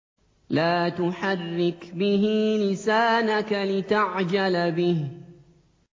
لَا تُحَرِّكْ بِهِ لِسَانَكَ لِتَعْجَلَ بِهِ